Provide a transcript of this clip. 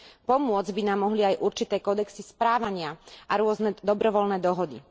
Pomôcť by nám mohli aj určité kódexy správania a rôzne dobrovoľné dohody.